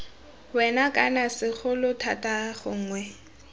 wena kana segolo thata gongwe